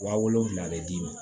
Wa wolonfila bɛ d'i ma